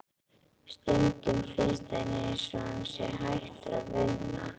Stundum finnst henni einsog hann sé hættur að vinna.